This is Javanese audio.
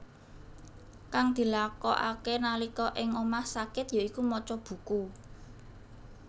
Kang dilakokake nalika ing omah sakit ya iku maca buku